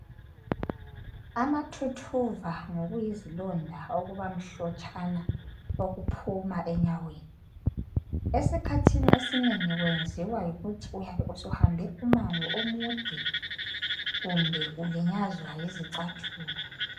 Amathuthuva ngokuyizilonda okuba mhlotshana okuphuma enyaweni esikhathini esinengi kwenziwa yikuthi uyabe usuhambe umango omude kumbe ulinyazwa yizicathulo.